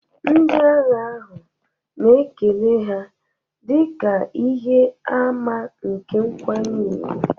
Ndị agha ahụ na-ekele ha dị ka ihe àmà nke nkwanye ùgwù